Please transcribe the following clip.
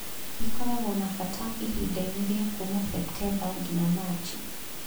Ĩkoragwo na bata ihinda-inĩ rĩa kuuma Septemba nginya Machi.